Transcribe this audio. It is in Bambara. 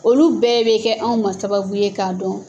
Olu bɛɛ bɛ kɛ anw ma sababu ye k'a dɔn.